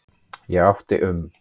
Ég átti um